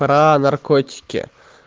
про наркотики